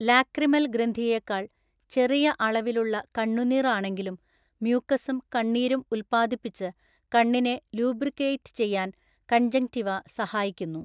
Lacrimal ഗ്രന്ഥിയേക്കാൾ ചെറിയ അളവിലുള്ള കണ്ണുനീർ ആണെങ്കിലും മ്യൂക്കസും കണ്ണീരും ഉത്പാദിപ്പിച്ച് കണ്ണിനെ ലൂബ്രിക്കേറ്റ് ചെയ്യാൻ കൺജങ്ക്റ്റിവ സഹായിക്കുന്നു.